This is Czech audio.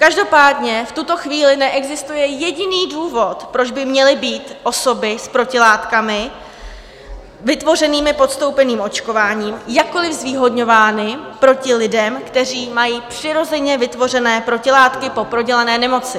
Každopádně v tuto chvíli neexistuje jediný důvod, proč by měly být osoby s protilátkami vytvořenými podstoupeným očkováním jakkoli zvýhodňováni proti lidem, kteří mají přirozeně vytvořené protilátky po prodělané nemoci.